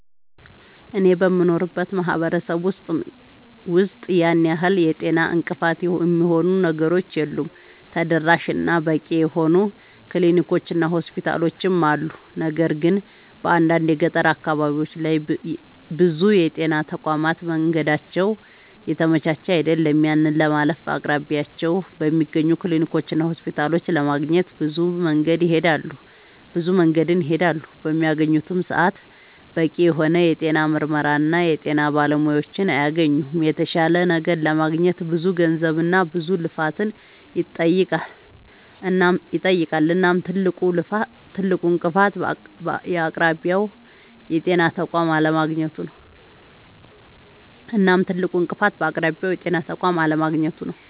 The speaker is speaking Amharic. አኔ በምኖርበት ማህበረሰብ ውስጥ ያን ያህል የጤና እንቅፋት የሚሆኑ ነገሮች የሉም ተደራሽ እና በቂ የሆኑ ክሊኒኮች እና ሆስፒታሎችም አሉ። ነገር ግን በአንዳንድ የገጠር አካባቢዎች ላይ ብዙ የጤና ተቋማት መንገዳቸው የተመቻቸ አይደለም። ያንን ለማለፍ በአቅራቢያቸው በሚገኙ ክሊኒኮችና ሆስፒታሎች ለማግኘት ብዙ መንገድን ይሄዳሉ። በሚያገኙበትም ሰዓት በቂ የሆነ የጤና ምርመራና የጤና ባለሙያዎችን አያገኙምና የተሻለ ነገር ለማግኘት ብዙ ገንዘብና ብዙ ልፋትን ይጠይቃል። እናም ትልቁ እንቅፋት በአቅራቢያው የጤና ተቋም አለማግኘቱ ነዉ